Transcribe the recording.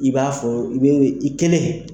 I b'a fɔ i bɛ i kelen